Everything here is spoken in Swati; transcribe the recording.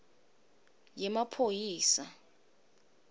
yemaphoyisa